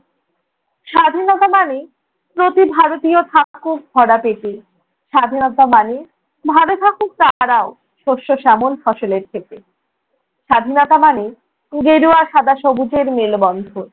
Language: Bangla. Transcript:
স্বাধীনতা মানে প্রতি ভারতীয় থাকুক ভরা পেটে, স্বাধীনতা মানে ভাল থাকুক তাহারাও শস্য-শ্যামল ফসলের থেকে। স্বাধীনতা মানে ঘেরুয়া সাদা সবুজের মেলবন্ধন।